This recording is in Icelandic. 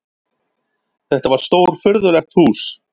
Þetta var stórfurðulegt hús.